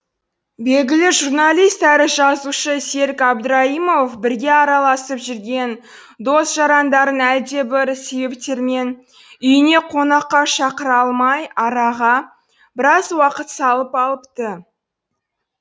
белгілі журналист әрі жазушы серік әбдірайымов бірге араласып жүрген дос жарандарын әлдебір себептермен үйіне қонаққа шақыра алмай араға біраз уақыт салып алыпты